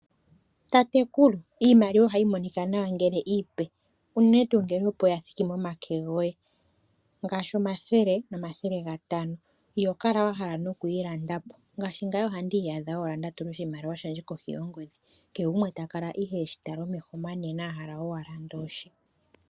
Tatekulu, iimaliwa ohayi monika nawa ngele iipe, unene tuu ngele opo ya thiki momake goye ngaashi omathele nomathele gatano. Iho kala wa hala nokuyi landa po, ngaashi ngame ohandi iyadha owala nda tula oshimaliwa shandje kohi yongodhi. Kehe gumwe ta kala ihe e shi tala omeho omanene a hala owala andola oshe.